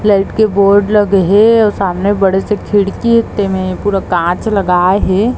Light के board लगे है आऊ सामने बड़े से खिड़की हे तेमे पूरा काँच लगाए है।